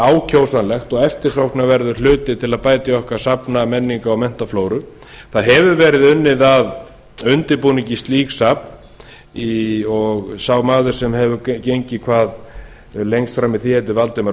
ákjósanlegt og eftirsóknarverður hluti til að bæta í safnamenningu okkar og menntaflóru unnið hefur verið að undirbúningi slíks safns og sá maður sem hefur gengið hvað lengst fram í því heitir valdimar